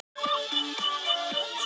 Þurrt að kalla á suðvesturlandi